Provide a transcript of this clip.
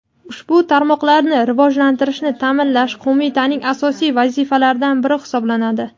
ushbu tarmoqlarni rivojlantirishni taʼminlash Qo‘mitaning asosiy vazifalaridan biri hisoblanadi.